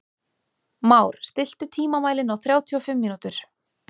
Már, stilltu tímamælinn á þrjátíu og fimm mínútur.